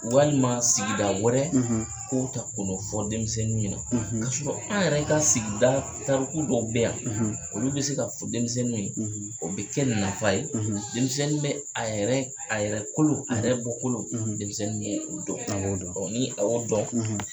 Walima sigida wɛrɛ ,, k'o ta k'o ta ka n'o fɔ denmisɛnnin ye na, k'a sɔrɔ an yɛrɛ ka sigida Tariku dɔw bɛɛ yan, , olu bɛ se ka fɔ denmisɛnnin ye, , o bɛ kɛ nafa ye denmisɛnnin bɛ a a yɛrɛkolo a yɛrɛ bɔ kolo , denmisɛnnin bɛ o dɔn, ni a y'o dɔn